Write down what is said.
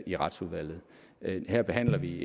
i retsudvalget her behandler vi